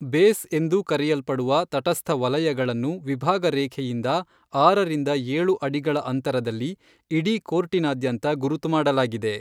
Base ಎಂದು ಕರೆಯಲ್ಪಡುವ ತಟಸ್ಥ ವಲಯಗಳನ್ನು ವಿಭಾಗ ರೇಖೆಯಿಂದ ಆರರಿಂದ ಏಳು ಅಡಿಗಳ ಅಂತರದಲ್ಲಿ ಇಡೀ ಕೋರ್ಟಿನಾದ್ಯಂತ ಗುರುತು ಮಾಡಲಾಗಿದೆ.